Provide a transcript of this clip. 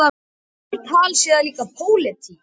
Slíkt tal sé líka pólitík.